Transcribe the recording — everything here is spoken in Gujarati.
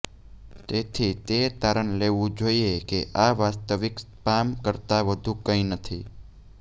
તેથી તે તારણ લેવું જોઈએ કે આ વાસ્તવિક સ્પામ કરતાં વધુ કંઇ નથી